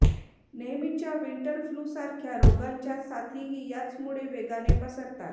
नेहमीच्या winter flu सारख्या रोगांच्या साथीही याचमुळे वेगाने पसरतात